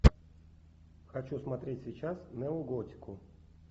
хочу смотреть сейчас неоготику